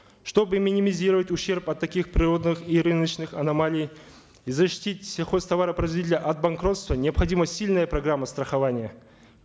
чтобы минимизировать ущерб от таких природных и рыночных аномалий и защитить сельхозтоваропроизводителей от банкротства необходима сильная программа страхования